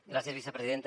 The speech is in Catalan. gràcies vicepresidenta